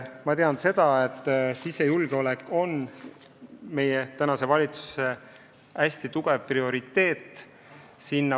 Ma tean seda, et sisejulgeolek on praegu valitsuse hästi tugev prioriteet.